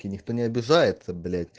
и никто не обижается блять